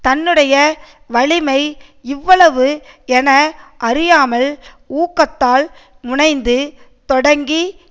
தன்னுடைய வலிமை இவ்வளவு என அறியாமல் ஊக்கத்தால் முனைந்து தொடங்கி